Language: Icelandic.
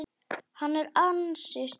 Hann er ansi stór.